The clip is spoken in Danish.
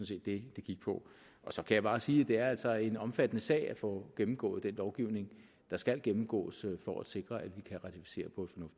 set det det gik på så kan jeg bare sige at det altså er en omfattende sag at få gennemgået den lovgivning der skal gennemgås for at sikre at vi kan ratificere